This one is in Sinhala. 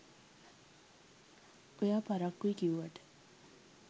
ඔයා පරක්කුයි කිව්වට